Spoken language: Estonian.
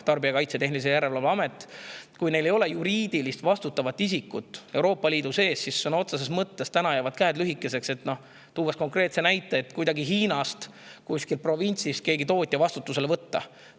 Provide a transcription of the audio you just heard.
Kui neil ei ole juriidilist vastutavat isikut Euroopa Liidus, siis jäävad käed lühikeseks, et – toon konkreetse näite – kuskil Hiina provintsis mingi tootja kuidagi vastutusele võtta.